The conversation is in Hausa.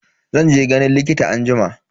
Zan je ganin likita anjima.